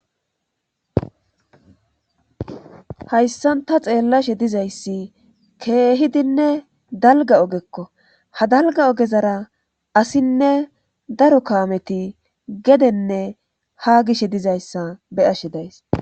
hayssan ta xeellashe dizayssi keehidinne dalga ogekko ha dalga ogezara asinne daro kaameti gedenne ha gishe dizayssa be ashe days